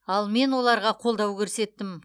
ал мен оларға қолдау көрсеттім